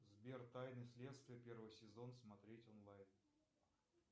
сбер тайны следствия первый сезон смотреть онлайн